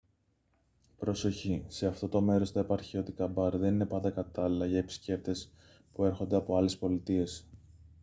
προσοχή σε αυτό το μέρος τα επαρχιώτικα μπαρ δεν είναι πάντα κατάλληλα για επισκέπτες που έρχονται από άλλες πολιτείες